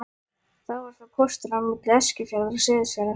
Þá var það pósturinn á milli Eskifjarðar og Seyðisfjarðar.